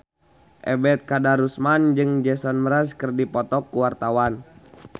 Ebet Kadarusman jeung Jason Mraz keur dipoto ku wartawan